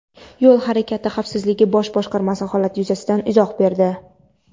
Yo‘l harakati xavfsizligi bosh boshqarmasi holat yuzasidan izoh berdi.